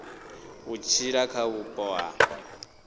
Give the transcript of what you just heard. u tshila kha vhupo ha